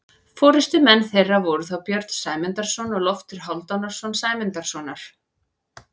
Forystumenn þeirra voru þá Björn Sæmundarson og Loftur Hálfdanarson Sæmundarsonar.